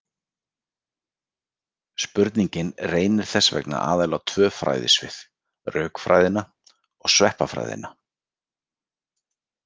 Spurningin reynir þess vegna aðallega á tvö fræðasvið: rökfræðina og sveppafræðina.